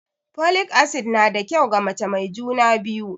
Folic acid na da kyau ga mace mai juna biyu